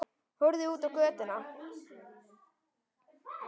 Horfði út á götuna.